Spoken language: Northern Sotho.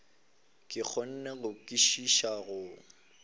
ke kgone go kwešiša go